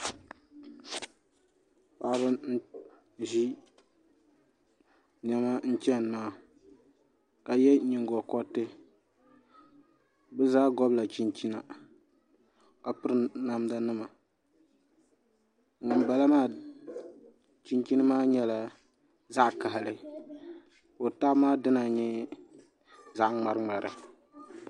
Paɣaba n ʒi niɛma n chɛni maa ka yɛ nyingokoriti bi zaa gobila chinchina ka piri namda nima ŋunbala maa chinchin maa nyɛla zaɣ kaɣali ka o tabi maa dina nyɛ zaɣ ŋmari ŋmari